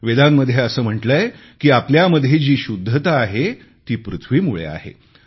वेदांमध्ये असे म्हटलेय की आपल्यामध्ये जी शुद्धता आहे ती पृथ्वीमुळे आहे